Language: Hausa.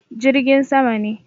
Jirgin sama ne.